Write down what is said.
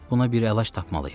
Buna bir əlac tapmalıyıq.